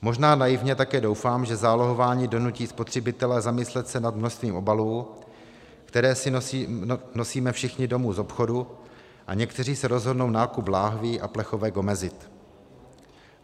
Možná naivně také doufám, že zálohování donutí spotřebitele zamyslet se nad množstvím obalů, které si nosíme všichni domů z obchodu, a někteří se rozhodnou nákup lahví a plechovek omezit.